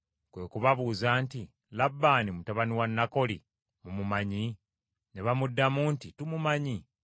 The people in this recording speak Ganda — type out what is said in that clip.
Kwe kubabuuza nti, “Labbaani mutabani wa Nakoli mumumanyi?” Ne bamuddamu nti, “Tumumanyi.”